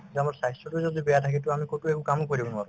যে আমাৰ স্বাস্থ্যতো যদি বেয়া থাকে to আমি কতো একো কামো কৰিব নোৱাৰো